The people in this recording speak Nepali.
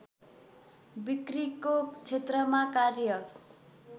बिक्रीको क्षेत्रमा कार्य